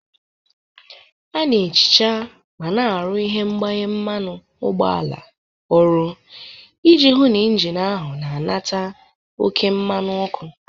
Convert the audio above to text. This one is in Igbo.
A na-ehicha ma na-arụ ihe mgbanye mmanụ ụgbọala ọrụ iji hụ na injin ahụ na-anata oke mmanụ ọkụ